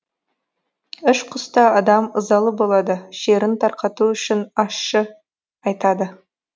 ішқұста адам ызалы болады шерін тарқату үшін ащы айтады